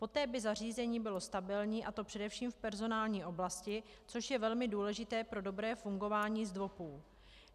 Poté by zařízení bylo stabilní, a to především v personální oblasti, což je velmi důležité pro dobré fungování ZDVOPů.